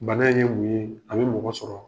Bana in ye mun ye? A bɛ mɔgɔ sɔrɔ.